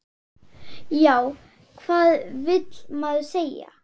Já, hvað vill maður segja?